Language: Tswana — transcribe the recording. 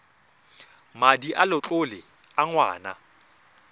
madi a letlole a ngwana